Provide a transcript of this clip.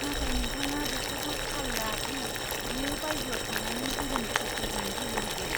नाथाय नोंथाङा बेखौबो थाल ला दि बियो बायजोआव थांनानै गुबुन गथ'फोरजों गेलेहैयो।